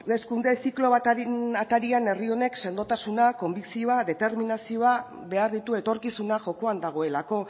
hauteskunde ziklo baten atarian herri honek sendotasuna konbikzioa determinazioa behar ditu etorkizuna jokoan dagoelako